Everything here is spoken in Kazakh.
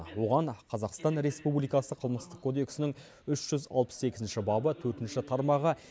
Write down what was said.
оған қазақстан республикасы қылмыстық кодексінің үш жүз алпыс екінші бабы төртінші тармағы